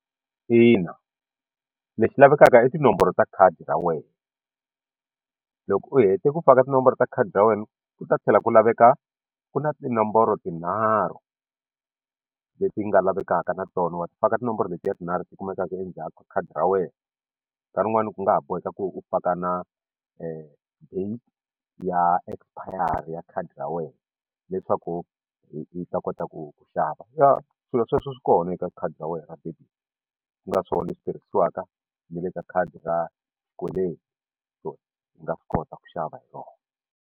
Ina leswi lavekaka i tinomboro ta khadi ra wena loko u hete ku faka tinomboro ta khadi ra wena u ta tlhela ku laveka ku na tinomboro tinharhu leti nga lavekaka na tona wa ti faka tinomboro leti ya tinharhu ti kumekaka endzhaku ka khadi ra wena nkarhi wun'wani ku nga ha boheka ku u faka na date ya expire ya khadi ra wena leswaku yi ta kota ku ku xava ya swilo sweswo swi kona eka khadi ra wena ku nga swona leswi tirhisiwaka ni le ka khadi ra xikweleti so ndzi nga swi kota ku xava hi rona.